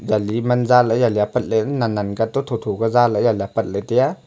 yali man za lah ley yali nen nen ka toh tho tho ka za lah ley apat tai a.